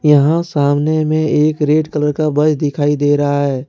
यहां सामने में एक रेड कलर का बस दिखाई दे रहा है।